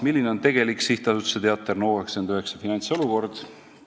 "Milline on tegelik SA Teater NO99 finantsolukord?